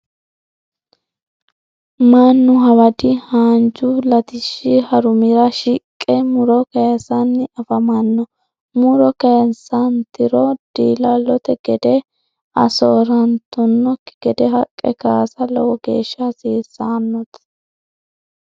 Manu hawadi haanju latishi harumira shiqe muro kayisanni afamano muro kayisantiro diillallote gade soorantanoki gede haqqe kaasa lowo geesha hasiisanote.